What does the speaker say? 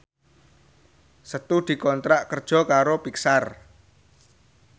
Setu dikontrak kerja karo Pixar